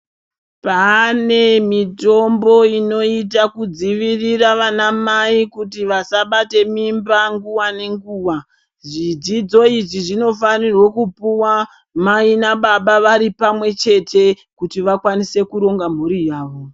Pane mitombo inoita kudzivirira vanamai kuti vasabate mimba nguva nenguva. Zvidzidzo izvi zvinofanirwe kupuwa mai nababa vari pamwechete kuti vakwanise kuronga mhuri yavo.